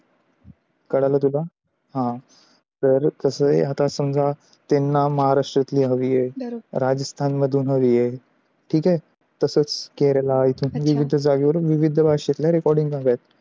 कळल तुला? आह तर कस आहे आता समझा त्यांना महाराष्ट्र तली हवी आहे, राजस्थान मधून हवी आहे ठीक आहे, तसच केरला असे विविध जागे वरुण विविध भाष्याच्या च्या विविध recording